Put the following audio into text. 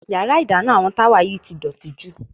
Yàrá ìdáná àwọn Táwà yìí ti dọ̀tí jù.